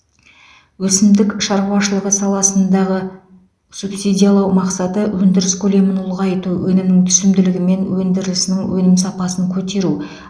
өсімдік шаруашылығы саласындағы субсидиялау мақсаты өндіріс көлемін ұлғайту өнімнің түсімділігі мен өндірілісінің өнім сапасын көтеру